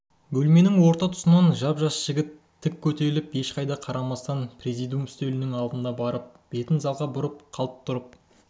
бөлменің орта тұсынан жап-жас жігіт тік көтеріліп ешқайда қарамастан президиум үстелінің алдына барып бетін залға бұрып қалт тұрып